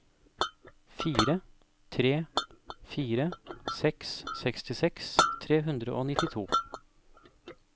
fire tre fire seks sekstiseks tre hundre og nittito